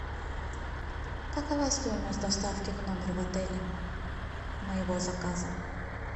какова стоимость доставки в номер в отеле моего заказа